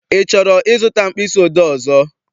I chọrọ I zụta mkpịsị odee ọzọ?